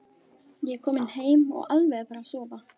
Ég er kominn heim og alveg að fara að sofa.